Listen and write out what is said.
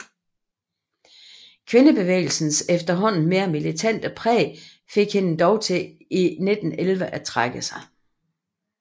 Kvindebevægelsens efterhånden mere militante præg fik hende dog i 1911 til at trække sig